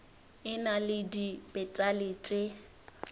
e na le dipetale tše